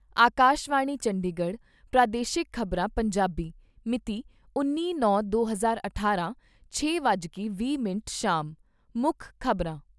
ਆਕਾਸ਼ਵਾਣੀ ਚੰਡੀਗੜ੍ਹ ਪ੍ਰਾਦੇਸ਼ਿਕ ਖ਼ਬਰਾਂ , ਪੰਜਾਬੀ ਮਿਤੀ ਉੱਨੀ ਨੌ ਦੋ ਹਜ਼ਾਰ ਅਠਾਰਾਂ, ਛੇ ਵੱਜ ਕੇ ਵੀਹ ਮਿੰਟ ਸ਼ਾਮ ਮੁੱਖ ਖ਼ਬਰਾਂ